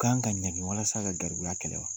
kan ka ɲanŋi walasa ka garibuya kɛlɛ wa?